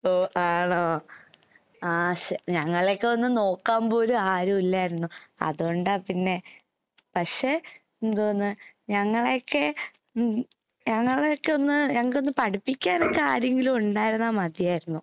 ഓ ആണോ. ആഹ് ശ് ഞങ്ങളേക്കെയൊന്ന് നോക്കാമ്പോലും ആരുവില്ലാരുന്നു. അതോണ്ടാ പിന്നെ, പക്ഷെ എന്തോന്ന് ഞങ്ങളേക്കെ ഉം ഞങ്ങളേക്കെയൊന്ന് ഞങ്ങക്കൊന്ന് പഠിപ്പിക്കാനൊക്കെ ആരെങ്കിലും ഉണ്ടായിരുന്നാ മതിയായിരുന്നു.